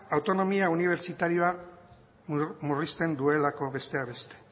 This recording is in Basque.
autonomia unibertsitarioa murrizten duelako besteak beste